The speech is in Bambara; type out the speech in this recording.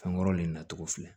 Fɛnkɔrɔ le natogo filɛ